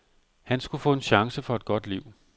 Han skulle få en chance for et godt liv.